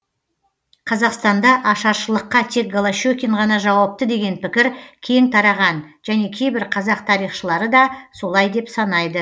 қазақстанда ашаршылыққа тек голощекин ғана жауапты деген пікір кең тараған және кейбір қазақ тарихшылары да солай деп санайды